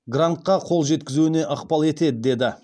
грантқа қол жеткізуіне ықпал етеді деді